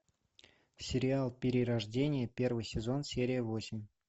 сериал перерождение первый сезон серия восемь